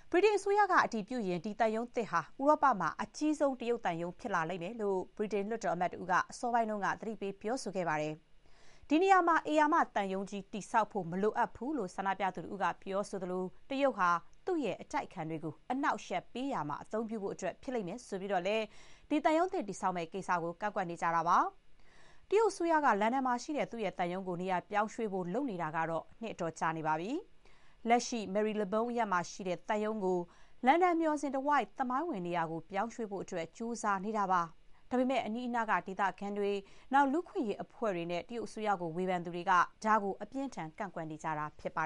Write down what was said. ဗြိတိန်အစိုးရက အတည်ပြုရင် ဒီသံရုံးသစ်ဟာ ဥရောပမှာ အကြီးဆုံး တရုတ်သံရုံး ဖြစ်လိမ့်မယ်လို့ ဗြိတိန် လွှတ်တော်အမတ် တဦးက အစောပိုင်းက သတိပေး ပြောဆိုခဲ့ပါတယ်။ ဒီနေရာမှာ ဧရာမ သံရုံးကြီး တည်ဆောက်ဖို့ မလိုအပ်ဘူးလို့ ဆန္ဒပြသူ တဦးက ပြောသလို၊ တရုတ်ဟာ သူ့ရဲ့ အတိုက်အခံတွေကို အနှောက်အယှက် ပေးရာမှာ အသုံးပြုဖို့ ဖြစ်လိမ့်မယ်လို့ ဆိုပြီး သံရုံးသစ် တည်ဆောက်မယ့် ကိစ္စကို ကန့်ကွက်နေကြတာပါ။ တရုတ်အစိုးရက လန်ဒန်မှာရှိတဲ့ သူ့ရဲ့သံရုံးကို နေရာပြောင်းရွှေ့ဖို့ လုပ်နေတာကတော့ နှစ်အတော်ကြာနေပါပြီ။ လက်ရှိ မယ်ရီလဘုန်း Marylebone အရပ်မှာရှိတဲ့ သံရုံးကို လန်ဒန်မျှော်စင် တဝိုက် သမိုင်းဝင် နေရာကို ပြောင်းရွှေ့ဖို့ ကြိုးစားနေတာပါ။ ဒါပေမဲ့ အနီးအနား ဒေသခံတွေ၊ လူ့အခွင့်အရေး အဖွဲ့တွေနဲ့ တရုတ်အစိုးရကို ဝေဖန်သူတွေက ဒါကို အပြင်းအထန် ကန့်ကွက်နေကြတာ ဖြစ်ပါ